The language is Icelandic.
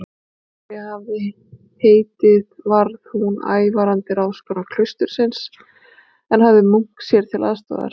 María hafði heitið varð hún ævarandi ráðskona klaustursins, en hafði munk sér til aðstoðar.